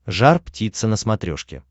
жар птица на смотрешке